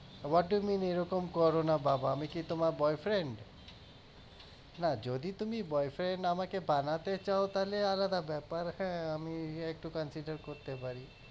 what do you mean? এরকম করোনা বাবা আমি কি তোমার boyfriend না যদি তুমি boyfriend আমাকে বানাতে চাও তাহলে আলাদা ব্যাপার হ্যাঁ আমি একটু consider করতে পারি